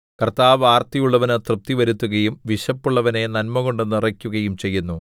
കർത്താവ് ആർത്തിയുള്ളവന് തൃപ്തി വരുത്തുകയും വിശപ്പുള്ളവനെ നന്മകൊണ്ടു നിറയ്ക്കുകയും ചെയ്യുന്നു